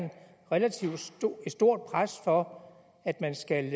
relativt stort pres for at man skal